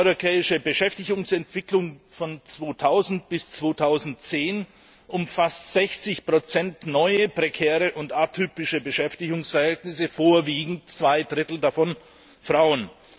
Die europäische Beschäftigungsentwicklung von 2000 bis 2010 umfasst 60 neue prekäre und atypische Beschäftigungsverhältnisse, vorwiegend zwei Drittel davon von Frauen.